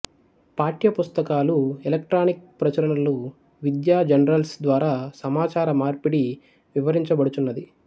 పాఠ్య పుస్తకాలు ఎలక్ట్రానిక్ ప్రచురణలు విద్యా జర్నల్స్ ద్వారా సమాచార మార్పిడి వివరించబడుచున్నది